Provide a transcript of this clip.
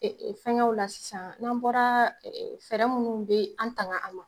Fɛngɛw la sisan n'an bɔra fɛɛrɛ minnu bɛ an tanga an ma.